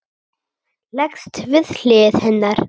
Leggst við hlið hennar.